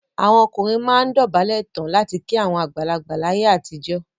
Àwọn ọkùnrin máa ń dọ̀bálẹ̀ tán láti kí àwọn àgbàlagbà láyé àtijọ́.